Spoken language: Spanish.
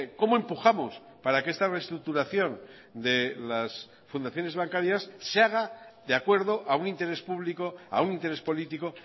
cómo empujamos para que esta reestructuración de las fundaciones bancarias se haga de acuerdo a un interés público a un interés político